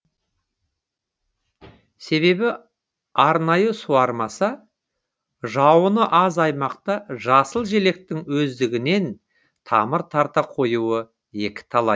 себебі арнайы суармаса жауыны аз аймақта жасыл желектің өздігінен тамыр тарта қоюы екіталай